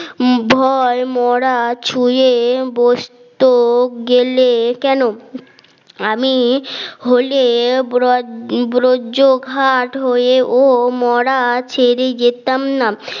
ভয় মরা ছুঁয়ে বসতো গেলে কেন আমি হলে ব্রজ ব্রজঘাট হয়ে ও মরা ছেড়ে যেতাম না